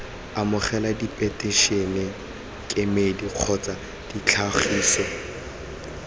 amogela diphetišene kemedi kgotsa ditlhagiso